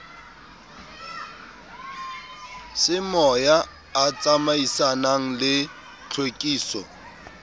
semoya a tsamaisanang le tlhwekiso